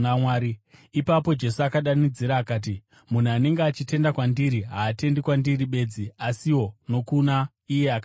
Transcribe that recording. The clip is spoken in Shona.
Ipapo Jesu akadanidzira akati, “Munhu anenge achitenda kwandiri, haatendi kwandiri bedzi, asiwo nokuna iye akandituma.